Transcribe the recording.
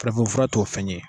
Farafinfura t'o fɛn ye.